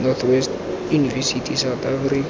north west university south africa